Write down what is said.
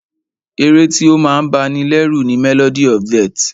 Ẹ̀ré tí o máa ń bá ní lẹ́rù ni "Melody of death"